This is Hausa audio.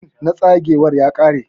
fin na tsagewar ya kare.